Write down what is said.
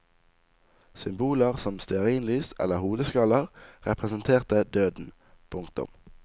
Symboler som stearinlys eller hodeskaller representerte døden. punktum